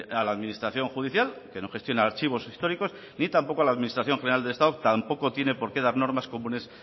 a la administración judicial que no gestiona archivos históricos ni tampoco a la administración general del estado tampoco tiene por qué dar normas comunes